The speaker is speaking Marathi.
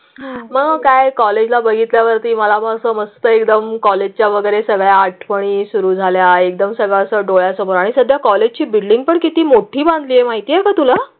मग काय कॉलेजला बघितल्यावर ती मला मग समस्त एकदम कॉलेजच्या वगैरे सगळ्या आठवणी सुरू झाल्या. एकदम सगळं डोळ्यासमोर आणि सध्या कॉलेज ची बिल्डिंग पण किती मोठी मागणी आहे माहिती आहे का तुला?